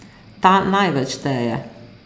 Ta največ šteje.